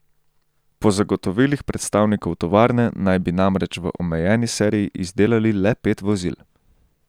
Po zagotovilih predstavnikov tovarne naj bi namreč v omejeni seriji izdelali le pet vozil.